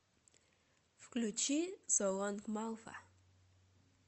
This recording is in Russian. включи со лонг малфа